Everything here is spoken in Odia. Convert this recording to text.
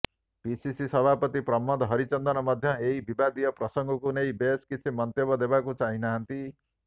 ପିସିସି ସଭାପତି ପ୍ରସାଦ ହରିଚନ୍ଦନ ମଧ୍ୟ ଏହି ବିବାଦୀୟ ପ୍ରସଙ୍ଗକୁ ନେଇ ବେଶୀ କିଛି ମନ୍ତବ୍ୟ ଦେବାକୁ ଚାହିଁନାହାନ୍ତି